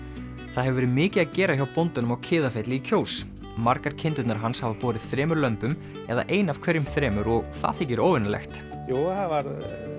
það hefur verið mikið að gera hjá bóndanum á Kiðafelli í Kjós margar kindurnar hans hafa borið þremur lömbum eða ein af hverjum þremur og það þykir óvenjulegt jú það var